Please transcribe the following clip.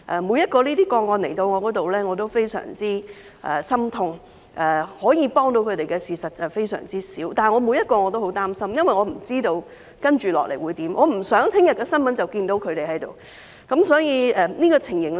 每宗個案來到我面前我都非常心痛，可以幫到他們的事非常少，每宗個案我都很擔心，因為我不知道接下來會怎樣，我不想在翌日的新聞便看到他們。